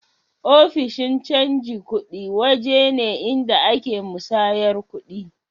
Ofishin canji kudi waje ne inda a ke musayyar kudi